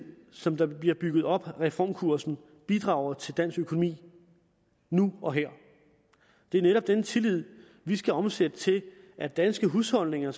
som der bliver bygget op med reformkursen bidrager til dansk økonomi nu og her det er netop denne tillid vi skal omsætte til at danske husholdninger